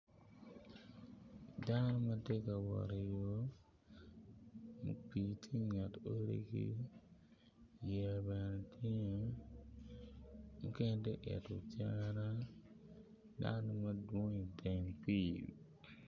Dano ma tye ka wot iyo ma pii tye inget odigi, yeya bene tye, mukene tye ka ito cere dano madwong iteng pii.